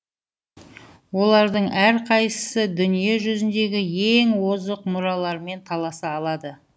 олардың әрқайсысы дүние жүзіндегі ең озық мұралармен таласа алады